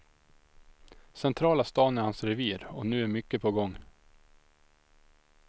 Centrala stan är hans revir, och nu är mycket på gång.